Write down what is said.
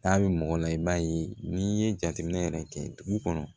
N'a bɛ mɔgɔ la i b'a ye n'i ye jateminɛ yɛrɛ kɛ dugu kɔnɔ